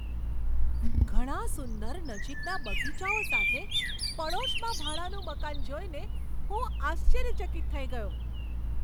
ઘણા સુંદર નજીકના બગીચાઓ સાથે પડોશમાં ભાડાનું મકાન જોઈને હું આશ્ચર્યચકિત થઈ ગયો.